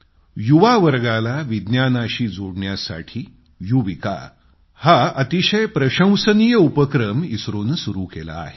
युवावर्गाला विज्ञानाशी जोडण्यासाठी युविका हा इस्त्रोनं अतिशय प्रशंसनीय उपक्रम सुरू केला आहे